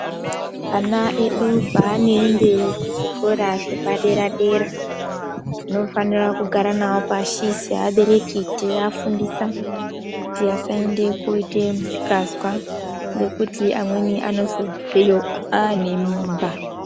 Ana edu paanoende kuzvikora zvepadera- dera tinofanira kugara navo pashi seabereki, teiafundisa kuti vasaende koite misikazwa ngekuti amweni anozobveyo aane mimba.